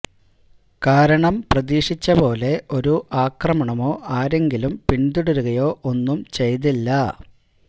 കാരണം പ്രതീക്ഷിച്ച പോലെ ഒരു ആക്രമണമോ ആരെങ്കിലും പിന്തുടരുകയോ ഒന്നും ചെയ്തില്ല